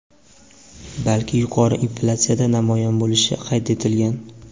balki yuqori inflyatsiyada namoyon bo‘lishi qayd etilgan.